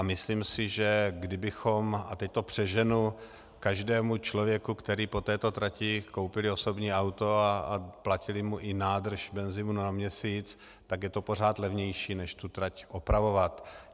A myslím si, že kdybychom - a teď to přeženu - každému člověku, který po této trati , koupili osobní auto a platili mu i nádrž benzinu na měsíc, tak je to pořád levnější než tu trať opravovat.